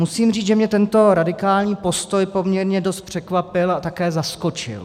Musím říct, že mě tento radikální postoj poměrně dost překvapil a také zaskočil.